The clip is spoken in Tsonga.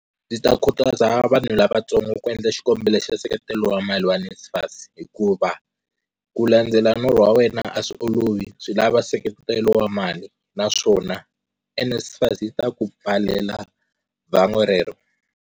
Ndzi khutaza vanhu lavantsongo ku endla xikombelo xa nseketelo wa mali wa NSFAS hikuva ku landzela norho wa wena a swi olovi, swi lava nseketelo wa mali, naswona NSFAS yi ta ku pfalela vangwa rero.